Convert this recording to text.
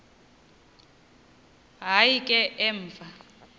hayi ke emva